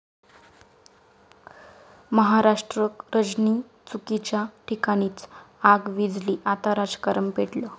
महाराष्ट्र रजनी' चुकीच्या ठिकाणीच!, आग विझली आता राजकारण पेटलं